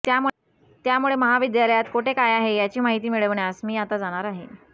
त्यामुळे महाविद्यालयात कोठे काय आहे याची माहिती मिळवण्यास मी आता जाणार आहे